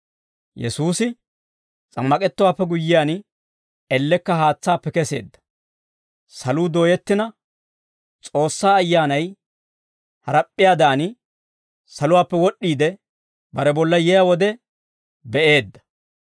Yesuusi s'ammak'ettowaappe guyyiyaan, ellekka haatsaappe keseedda; saluu dooyettina, S'oossaa Ayyaanay harap'p'iyaadan saluwaappe wod'd'iide bare bolla yiyaa wode be'eedda;